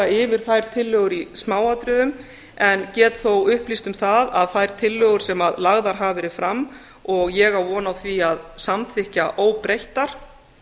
yfir þær tillögur í smáatriðum en get þó upplýst um það að þær tillögur sem lagðar hafa verið fram og ég á von á því að samþykkja óbreyttar